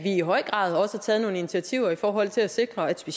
i høj grad også har taget nogle initiativer i forhold til at sikre at de